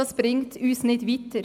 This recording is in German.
Das bringt uns nicht weiter.